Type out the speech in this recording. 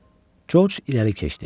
Corc irəli keçdi.